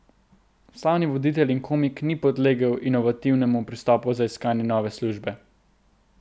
Slavni voditelj in komik ni podlegel inovativnemu pristopu za iskanje nove službe.